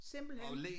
Simpelthen